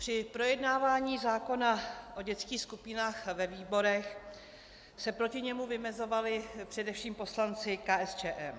Při projednávání zákona o dětských skupinách ve výborech se proti němu vymezovali především poslanci KSČM.